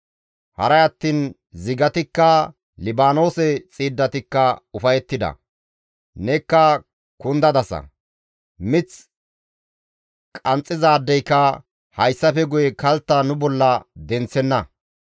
Haray attiin zigatikka, Libaanoose xiiddatikka ufayettida; Nekka kundadasa; mith qanxxizaadeyka hayssafe guye kaltta nu bolla denththenna.